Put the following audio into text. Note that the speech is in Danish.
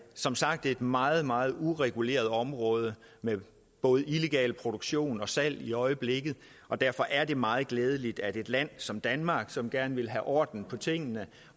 som sagt et meget meget ureguleret område med både illegal produktion og salg i øjeblikket og derfor er det meget glædeligt at et land som danmark som gerne vil have orden i tingene